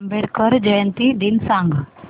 आंबेडकर जयंती दिन सांग